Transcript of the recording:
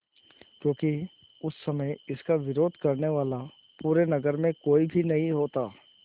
क्योंकि उस समय इसका विरोध करने वाला पूरे नगर में कोई भी नहीं होता